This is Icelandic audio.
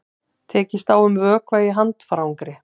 Tekist á um vökva í handfarangri